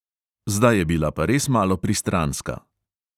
Zdaj je bila pa res malo pristranska.